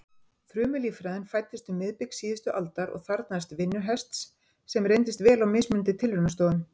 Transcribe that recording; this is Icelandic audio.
Frumulíffræðin fæddist um miðbik síðustu aldar og þarfnaðist vinnuhests sem reyndist vel á mismunandi tilraunastofum.